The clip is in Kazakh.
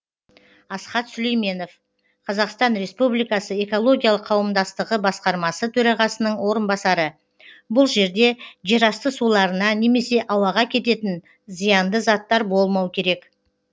асхат сүлейменов қазақстан республикасы экологиялық қауымдастығы басқармасы төрағасының орынбасары бұл жерде жерасты суларына немесе ауаға кететін зиянды заттар болмау керек